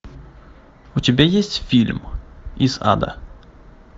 у тебя есть фильм из ада